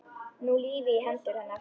Ný lífi í hendur hennar.